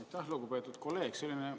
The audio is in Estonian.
Aitäh, lugupeetud kolleeg!